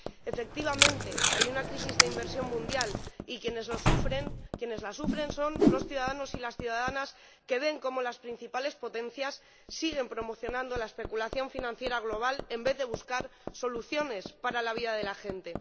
Efectivamente, hay una crisis de inversión mundial y quienes la sufren son los ciudadanos y las ciudadanas que ven cómo las principales potencias siguen promocionando la especulación financiera global en vez de buscar soluciones para la vida de la gente.